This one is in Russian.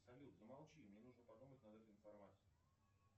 салют замолчи мне нужно подумать над этой информацией